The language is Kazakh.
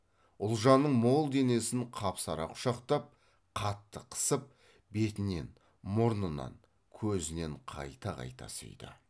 ұлжанның мол денесін қапсыра құшақтап қатты қысып бетінен мұрнынан көзінен қайта қайта сүйді